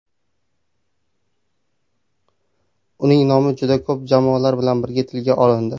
Uning nomi juda ko‘p jamoalar bilan birga tilga olindi.